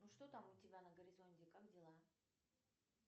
ну что там у тебя на горизонте как дела